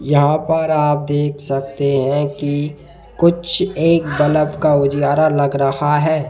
यहां पर आप देख सकते हैं कि कुछ एक बल्ब का उजियारा लग रहा है।